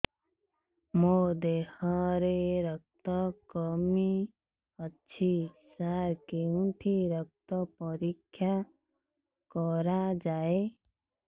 ମୋ ଦିହରେ ରକ୍ତ କମି ଅଛି ସାର କେଉଁଠି ରକ୍ତ ପରୀକ୍ଷା କରାଯାଏ